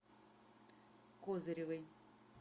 козыревой